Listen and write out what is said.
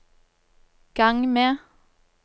gang med